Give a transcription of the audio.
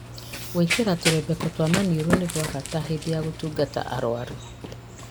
Gwĩkĩra tũrembeko twa maniũrũ nĩ gwa bata hĩndĩ ya gũtungata arwaru